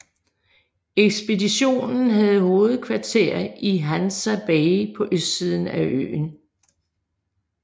Ekspeditionen havde hovedkvarter i Hansa Bay på østsiden af øen